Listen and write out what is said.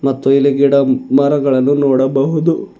ಮತ್ತು ಇಲ್ಲಿ ಗಿಡ ಮರಗಳನ್ನು ನೋಡಬಹುದು.